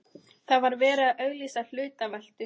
Það var verið að auglýsa hlutaveltu.